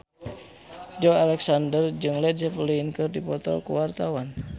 Joey Alexander jeung Led Zeppelin keur dipoto ku wartawan